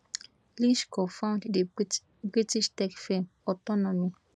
lynch cofound di british tech firm autonomy